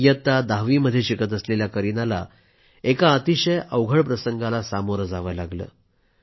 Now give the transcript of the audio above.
इयत्ता दहावीमध्ये शिकत असलेल्या करीनाला एका अतिशय अवघड प्रसंगाला सामोरं जावं लागलं